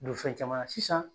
Borofɛn caman na sisan